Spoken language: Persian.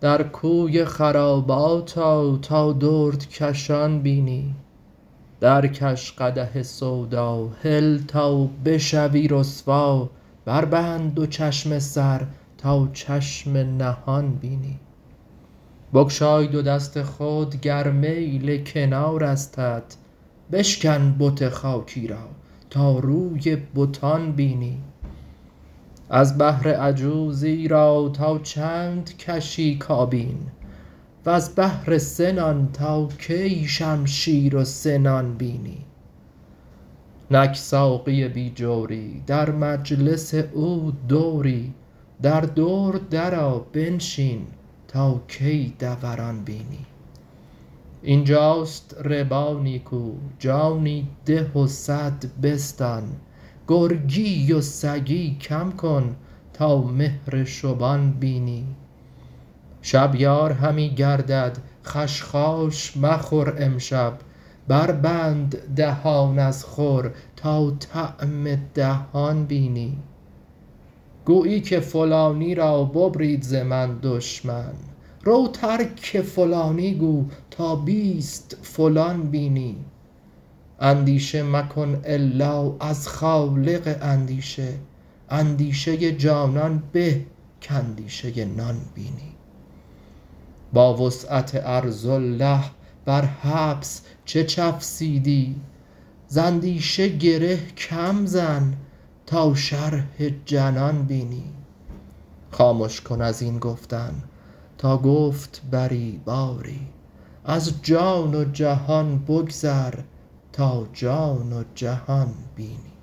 در کوی خرابات آ تا دردکشان بینی درکش قدح سودا هل تا بشوی رسوا بربند دو چشم سر تا چشم نهان بینی بگشای دو دست خود گر میل کنارستت بشکن بت خاکی را تا روی بتان بینی از بهر عجوزی را تا چند کشی کابین وز بهر سه نان تا کی شمشیر و سنان بینی نک ساقی بی جوری در مجلس او دوری در دور درآ بنشین تا کی دوران بینی این جاست ربا نیکو جانی ده و صد بستان گرگی و سگی کم کن تا مهر شبان بینی شب یار همی گردد خشخاش مخور امشب بربند دهان از خور تا طعم دهان بینی گویی که فلانی را ببرید ز من دشمن رو ترک فلانی گو تا بیست فلان بینی اندیشه مکن الا از خالق اندیشه اندیشه جانان به کاندیشه نان بینی با وسعت ارض الله بر حبس چه چفسیدی ز اندیشه گره کم زن تا شرح جنان بینی خامش کن از این گفتن تا گفت بری باری از جان و جهان بگذر تا جان و جهان بینی